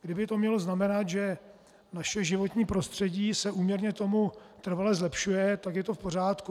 Kyby to mělo znamenat, že naše životní prostředí se úměrně tomu trvale zlepšuje, tak je to v pořádku.